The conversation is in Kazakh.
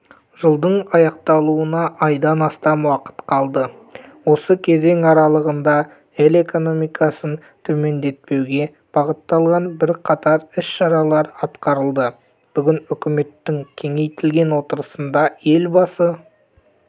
жылдың аяқталуына айдан астам уақыт қалды осы кезең аралығында ел экономикасын төмендетпеуге бағытталған бірқатар іс-шаралар атқарылды бүгін үкіметтің кеңейтілген отырысында елбасы